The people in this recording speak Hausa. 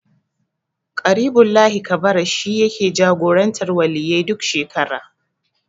Ƙaribullahi Kabara shi yake jagorantar Waliyyai duk shekara.